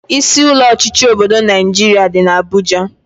Isi ụlọ ọchịchị obodo Naijiria dị n'Abuja